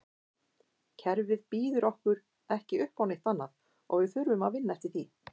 Kerfið býður okkur ekki uppá neitt annað og við þurfum að vinna eftir því.